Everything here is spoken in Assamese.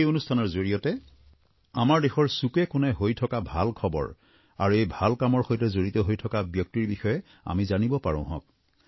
এই অনুষ্ঠানৰ জৰিয়তে আমাৰ দেশৰ চুকেকোণে হৈ থকা ভাল খবৰ আৰু এই ভাল কামৰ সৈতে জড়িত হৈ থকা ব্যক্তিৰ বিষয়ে আমি জানিব পাৰোঁহক